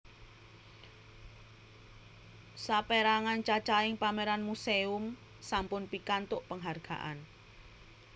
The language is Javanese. Sapèrangan cacahing pameran muséum sampun pikantuk penghargaan